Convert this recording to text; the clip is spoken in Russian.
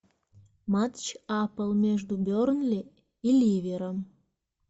матч апл между бернли и ливером